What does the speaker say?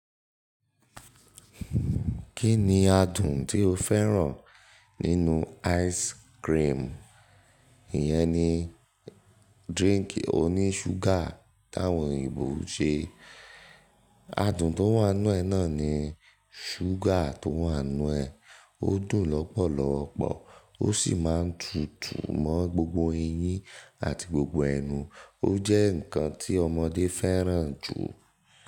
Kí ni adùn tí o fẹ́ràn nínú ice cream? Iyẹn ni drink oní ṣúgà táwọn òyìnbó ń ṣe. Adùn tó wà nínú ẹ náà ni ṣúgà tó wà nínú ẹ. Ó dùn lọ́pọ̀lọpọ̀, ó sì máa ń tùtù mọ́ gbogbo eyín àti gbogbo ẹnu. Ó jẹ́ ǹkan tí ọmọdé fẹ́ràn jù.